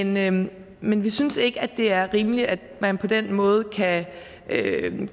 men men vi synes ikke det er rimeligt at man på den måde kan